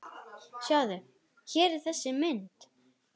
Sjáðu, hér er þessi mynd.